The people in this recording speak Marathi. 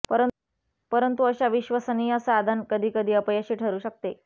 परंतु अशा विश्वसनीय साधन कधी कधी अपयशी ठरू शकते